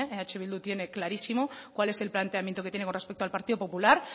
eh bidu tiene clarísimo cuál es el planteamiento que tiene con respecto al partido popular